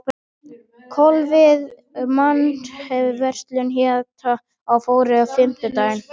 Kolviður, manstu hvað verslunin hét sem við fórum í á fimmtudaginn?